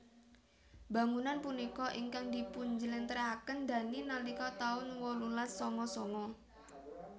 Bangunan punika ingkang dipun jlentrehaken Dhani nalika taun wolulas sanga sanga